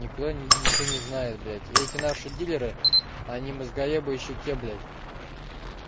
ни кто ничего не знают дети наши дилеры ани мозгоебы ещё тебе блять